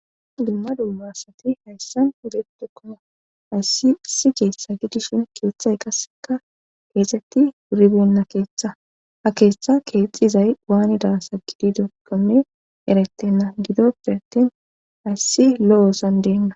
dumma dummasati hayssan beedokoma hayssi isijeesa gidishin kiyoththay qasseka geexetti wuribenna keeththa ha keeththa keexxizay waanida sa gidi dogome erattenna gidoppe attin hayssi lo7oosan deenna